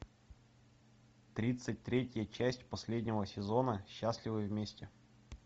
тридцать третья часть последнего сезона счастливы вместе